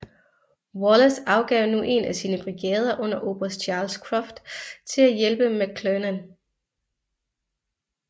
Wallace afgav nu en af sine brigader under oberst Charles Cruft til at hjælpe McClernand